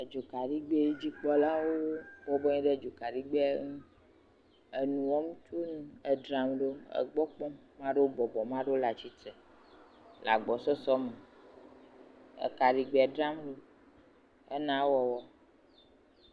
Edzo kaɖigbɛ, dzikpɔlawo bɔbɔ nɔ anyi ɖe edzokaɖigbɛa ŋu, enu wɔm tso ŋu, edzram ɖo, Amea ɖewo bɔbɔ, mea ɖewo le atsitre le agbɔsɔsɔ me, ekaɖigbɛ dzram ɖo hena ewɔwɔ.